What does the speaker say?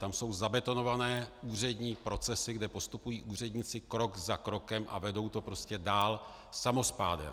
Tam jsou zabetonované úřední procesy, kde postupují úředníci krok za krokem a vedou to prostě dál samospádem.